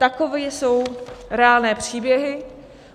Takové jsou reálné příběhy.